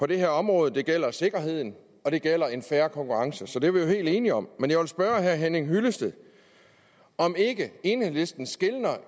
det her område det gælder sikkerheden og det gælder en fair konkurrence det er vi helt enige om men jeg vil spørge herre henning hyllested om ikke enhedslisten skelner